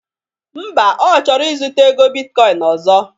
Mba,Ọ chọrọ ịzụta ego bitkọin ọzọ